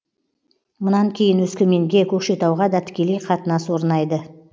мұнан кейін өскеменге көкшетауға да тікелей қатынас орнайды